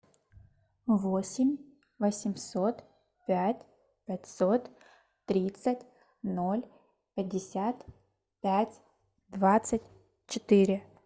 восемь восемьсот пять пятьсот тридцать ноль пятьдесят пять двадцать четыре